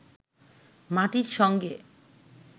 মাটির সঙ্গে